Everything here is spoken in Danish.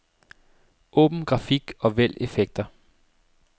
Åbn grafik og vælg effekter.